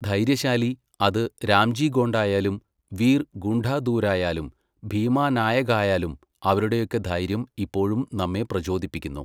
ധൈര്യശാലി, അത് രാംജി ഗോണ്ടായാലും വീർ ഗുണ്ടാധൂരായാലും ഭീമാനായകായാലും അവരുടെയൊക്കെ ധൈര്യം ഇപ്പോഴും നമ്മെ പ്രചോദിപ്പിക്കുന്നു.